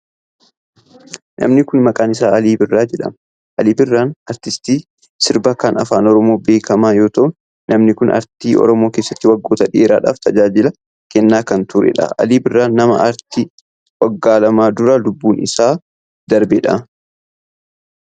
Namni kun maqaan isaa Alii Birraa jedhama. Alii Birraan aartistii sirbaa kan afaan Oromoo beekamaa yoo ta'u, namni kun aartii Oromoo keessatti waggoota dheeradhaaf tajaajila kennaa kan turee dha. Alii Birraa nama aartii waggoota lama dura lubbuun isaa darbee dha.